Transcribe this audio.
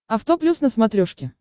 авто плюс на смотрешке